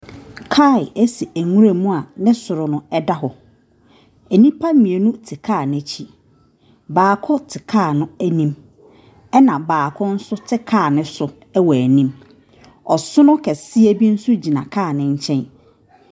Kaa esi ɛnwura mu a ne soro no ɛda hɔ. Enipa mienu te kaa n'ekyi. Baako te kaa no enim ɛna baako so te kaa ne so ɛwɔ enim. Ɔsono kɛseɛ bi so gyina kaa ne nkyɛn.